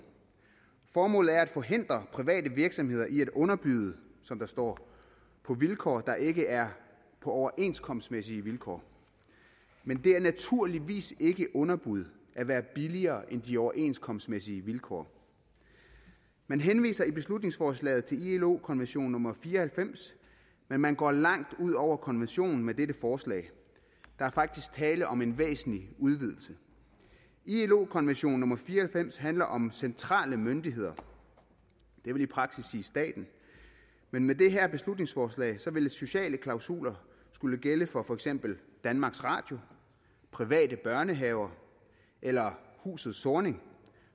formålet er at forhindre private virksomheder i at underbyde som der står på vilkår der ikke er på overenskomstmæssige vilkår men det er naturligvis ikke underbud at være billigere end de overenskomstmæssige vilkår man henviser i beslutningsforslaget til ilo konvention nummer fire og halvfems men man går langt ud over konventionen med dette forslag der er faktisk tale om en væsentlig udvidelse ilo konvention nummer fire og halvfems handler om centrale myndigheder og det vil i praksis sige staten men med det her beslutningsforslag vil sociale klausuler skulle gælde for for eksempel danmarks radio private børnehaver eller huset zornig